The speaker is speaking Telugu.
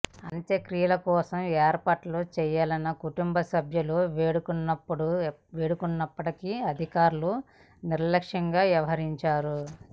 అంత్యక్రియల కోసం ఏర్పాట్లు చేయాలని కుటుంబసభ్యులు వేడుకున్నప్పటికీ అధికారులు నిర్లక్ష్యంగా వ్యవహరించారు